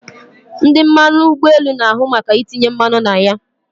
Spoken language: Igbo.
Ndị mmanụ ụgbọelu na ahu maka itinye mmanụ na ya